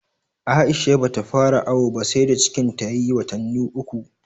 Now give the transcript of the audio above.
Aisha ba ta fara awo ba sai da cikin ta ya yi watannu uku